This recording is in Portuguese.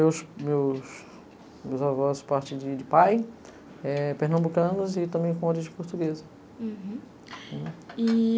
meus meus meus avós partem de pai, eh pernambucanos e também com origem portuguesa. Uhum, e